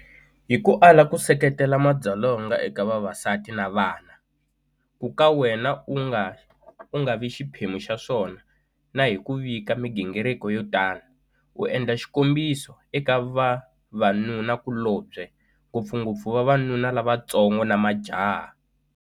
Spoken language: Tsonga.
Hi ku ala ku seketela madzolonga eka vavasati na vana, ku ka wena u nga vi xiphemu xa swona na hi ku vika migingiriko yo tano, u endla xikombiso eka vavanunakulobye, ngopfungopfu vavanuna lavantsongo na majaha.